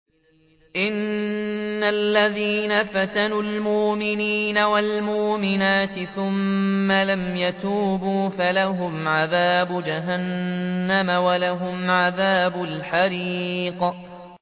إِنَّ الَّذِينَ فَتَنُوا الْمُؤْمِنِينَ وَالْمُؤْمِنَاتِ ثُمَّ لَمْ يَتُوبُوا فَلَهُمْ عَذَابُ جَهَنَّمَ وَلَهُمْ عَذَابُ الْحَرِيقِ